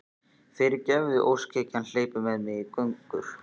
Fyrirgefðu, óskhyggjan hleypur með mig í gönur.